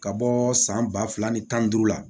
Ka bɔ san ba fila ni tan ni duuru la